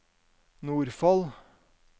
Nordfold